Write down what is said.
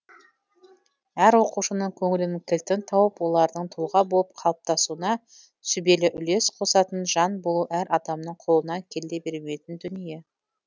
әр оқушының көңілінің кілтін тауып олардың тұлға болып қалыптасуына сүбелі үлес қосатын жан болу әр адамның қолынан келе бермейтін дүние